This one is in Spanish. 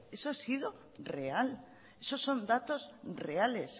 eso ha sido real esos son datos reales